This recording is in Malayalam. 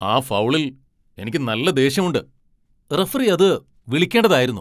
ആ ഫൗളിൽ എനിക്ക് നല്ല ദേഷ്യമുണ്ട്! റഫറി അത് വിളിക്കേണ്ടതായിരുന്നു.